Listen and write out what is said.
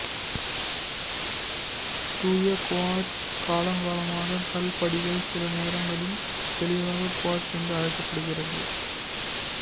தூய குவார்ட்சு காலங்காலமாக கல் படிகம் சிலநேரங்களில் தெளிவான குவார்ட்சு என்று அழைக்கப்படுகிறது